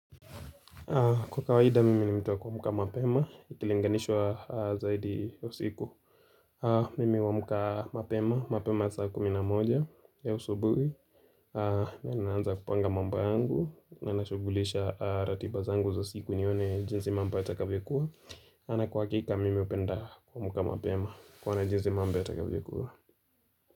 Kwa kawaida, mimi ni mtu wa kuamka mapema, ikilinganishwa zaidi ya usiku. Mimi huamka mapema, mapema saa kumi na moja, ya usubuhi. Na ninaanza kupanga mambo yangu, na nashughulisha ratiba zangu za siku nione jinzi mambo yatakavyokuwa. Ana kwa hakika, mimi hupenda kuamka mapema, kuona jinzi mamba yatakavyokuwa.